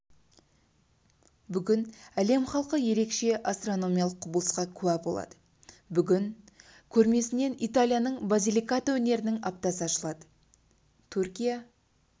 бүгін әлем халқы ерекше астрономиялық құбылысқа куә болады бүгін көрмесінде италияның базиликата өңірінің аптасы ашылды түркия